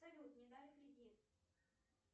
салют не дали кредит